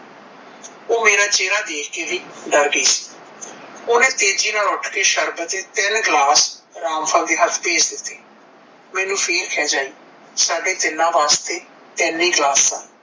ਓਹ ਮੇਰਾ ਚੇਹਰਾ ਦੇਖ ਕੇ ਵੀ ਡਰ ਗਈ ਸੀ। ਓਹਨੇ ਤੇਜ਼ੀ ਨਾਲ ਉਠ ਕੇ ਸ਼ਰਬਤ ਦੇ ਤਿਨ ਗਲਾਸ ਰਾਮਫਲ ਦੇ ਹੱਥ ਭੇਜ ਦਿੱਤੇ। ਮੈਨੂੰ ਫੇਰ ਖਿਝ ਆਈ ਸਾਡੇ ਤਿੰਨਾਂ ਵਾਸਤੇ ਤਿੰਨ ਹੀ ਗਲਾਸ ਸਨ।